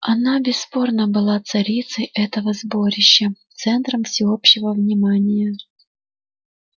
она бесспорно была царицей этого сборища центром всеобщего внимания